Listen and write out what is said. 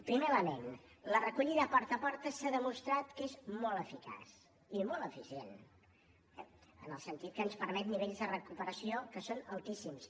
primer element la recollida porta a porta s’ha demostrat que és molt eficaç i molt eficient en el sentit que ens permet nivells de recuperació que són altíssims